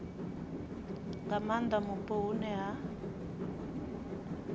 nga maanda mupo hune ha